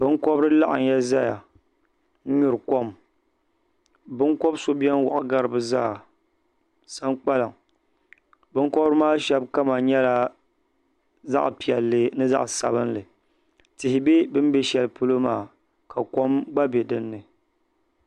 Binkobiri laɣimya zaya n nyuri kom binkobi so bɛni wɔɣi gari bi zaa sankpaliŋ binkɔbiri maa shɛba kama nyɛla zaɣi piɛlli ni zaɣi sabinli tihi bɛ bini bɛ shɛli polo maa ka kom gba bɛ dinni.